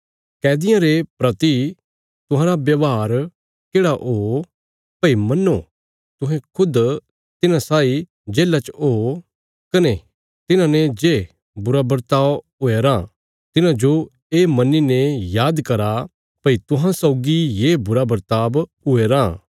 कैदियां रे प्रति तुहांरा व्यवहार येढ़ा ओ भई मन्नो तुहें खुद तिन्हां साई जेल्ला च ओ कने तिन्हांने जे बुरा बर्ताव हुया राँ तिन्हांजो ये मन्नीने याद करा भई तुहां सौगी ये बुरा बर्ताव हुया राँ